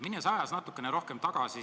Lähen ajas natukene rohkem tagasi.